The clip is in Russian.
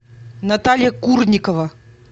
наталья курникова